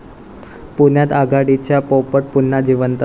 पुण्यात आघाडीचा पोपट पुन्हा जिवंत!